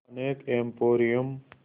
यहाँ अनेक एंपोरियम